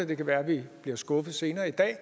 det kan være at vi bliver skuffet senere i dag